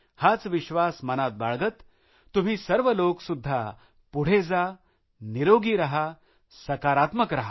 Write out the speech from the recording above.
हाच विश्वास मनात बाळगत तुम्ही सर्व लोक सुद्धा पुढे जा निरोगी रहा सकारात्मक रहा